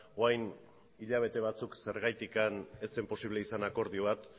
orain hilabete batzuk zergatik ez zen posible izan akordio bat